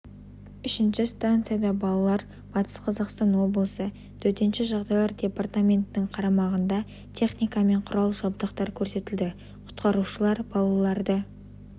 үшінші станцияда балалар батыс қазақстан облысы төтенше жағдайлар департаментінің қарамағындағы техника мен құрал-жабдықтар көрсетілді құтқарушылар балаларды